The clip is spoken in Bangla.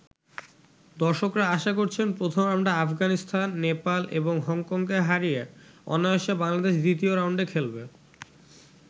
দর্শকরা আশা করছেন, প্রথম রাউন্ডে আফগানিস্তান, নেপাল এবং হংকংকে হারিয়ে অনায়াসে বাংলাদেশ দ্বিতীয় রাউন্ডে খেলবে।